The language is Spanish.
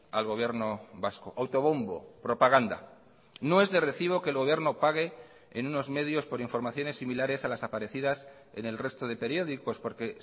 al gobierno vasco autobombo propaganda no es de recibo que el gobierno pague en unos medios por informaciones similares a las aparecidas en el resto de periódicos porque